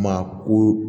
Maa ko